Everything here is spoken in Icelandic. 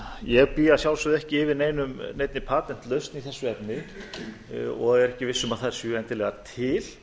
ég bý að sjálfsögðu ekki yfir neinni patentlausn í þessu efni og er ekki viss um að er séu endilega til